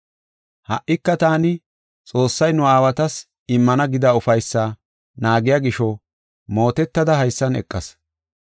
Ha77ika taani Xoossay nu aawatas immana gida ufaysaa naagiya gisho mootetada haysan eqas.